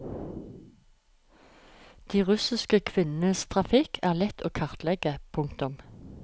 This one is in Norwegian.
De russiske kvinnenes trafikk er lett å kartlegge. punktum